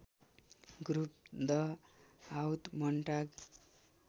group द हाउत मोन्टाग